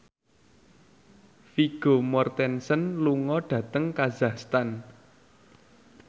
Vigo Mortensen lunga dhateng kazakhstan